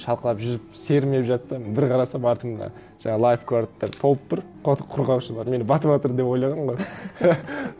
шалқалап жүзіп сермеп жатсам бір қарасам артымда жаңа лайфгардтар толып тұр қорғаушылар мені батыватыр деп ойлаған ғой